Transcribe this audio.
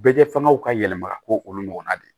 Bɛɛ kɛ fangaw ka yɛlɛma ka k'o olu ɲɔgɔnna de